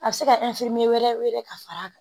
A bɛ se ka wɛrɛ wele ka fara a kan